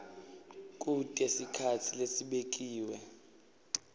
kute sikhatsi lesibekiwe